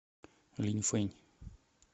линьфэнь